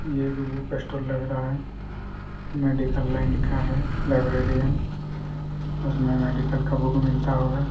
ये एक book store लग रहा हैं मेडिकल लाइन का हैं लाइब्रेरियन उसमे मेडिकल का बुक मिलता होगा।